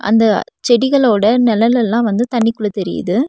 அந்த செடிகளோட நெழலெல்லா வந்து தண்ணிக்குள்ள தெரியிது.